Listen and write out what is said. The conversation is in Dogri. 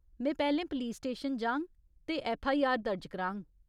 में पैह्‌लें पलीस स्टेशन जाङ ते ऐफ्फआईआर दर्ज कराङ।